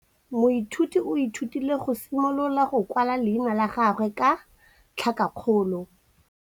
Moithuti o ithutile go simolola go kwala leina la gagwe ka tlhakakgolo.